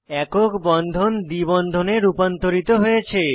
একক বন্ধন দ্বি বন্ধনে রূপান্তরিত হয়েছে